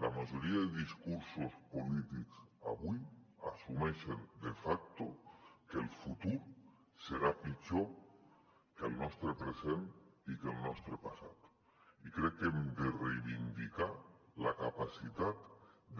la majoria de discursos polítics avui assumeixen de facto que el futur serà pitjor que el nostre present i que el nostre passat i crec que hem de reivindicar la capacitat